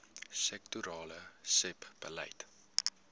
sektorale sebbeleid